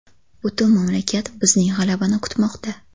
Butun mamlakat bizning g‘alabani kutmoqda.